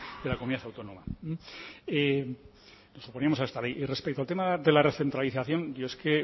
de la comunidad autónoma nos oponíamos a esta ley y respecto al tema de la recentralización